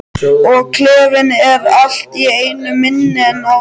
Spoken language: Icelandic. Og klefinn er allt í einu minni en áður.